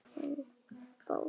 Þín, Hrefna Bóel.